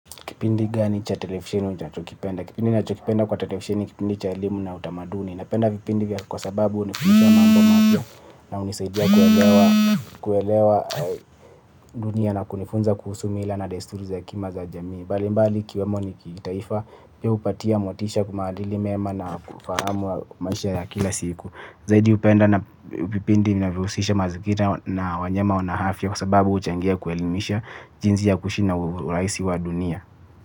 Kipindi gani cha televisheni unachokipenda? Kipindi ninachokipenda kwenye televisheni ni kipindi cha elimu na utamaduni. Napenda vipindi hivyo kwa sababu vinanipa mambo mapya na hunisaidia kuelewa dunia na kujifunza kuhusu mila na desturi za jamii mbalimbali. Balimbali kiwemo ni kitaifa ya upatia motisha kumadili mema na kufahamu wa mashia ya kila siku. Zaidi upenda na vipindi na vipindia vya usisha mazikita na wanyama wanahafia kwa sababu uchangia kuelimisha jinsi ya kuishi na uraisi wa dunia.